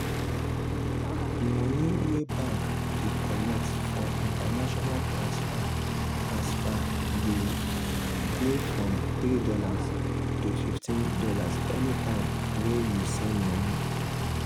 mone wey bank dey collect for international transfer transfer dey dey from $3 to fifteen dollars anytime we you send money